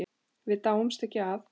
Við dáumst ekki að